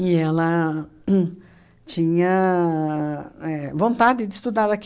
E ela tinha uhn éh vontade de estudar. Ela